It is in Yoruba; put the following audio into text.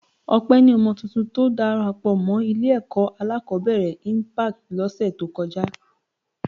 Ọpẹ ni ọmọ tuntun tó darapọ̀ mọ́ Ilé-ẹ̀kọ́ alákọ̀ọ́bẹ̀rẹ̀ Impact lọ́sẹ̀ tó kọjá